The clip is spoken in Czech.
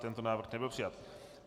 Tento návrh nebyl přijat.